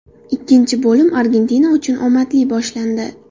Ikkinchi bo‘lim Argentina uchun omadli boshlandi.